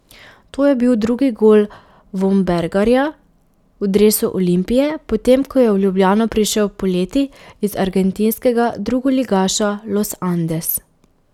To je bil drugi gol Vombergarja v dresu Olimpije, potem ko je v Ljubljano prišel poleti iz argentinskega drugoligaša Los Andes.